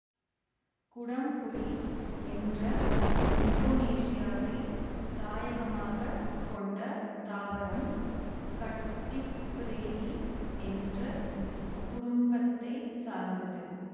குடம்புளி என்ற இந்தோனேசியாவைத் தாயகமாக கொண்ட தாவரம் கட்டிப்ரேயீ என்ற குடும்பத்தை சார்ந்தது